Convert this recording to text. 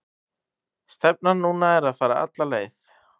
Stefnan núna er að fara alla leið.